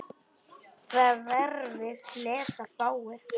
Það vefrit lesa fáir.